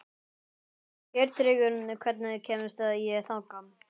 Geirtryggur, hvernig kemst ég þangað?